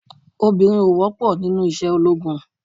Obìnrin ò wọ́pọ̀ nínú iṣẹ́ ológun.